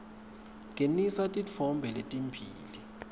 ngenisa titfombe letimbili